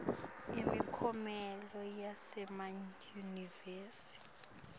imiklomelo yasemayunivesi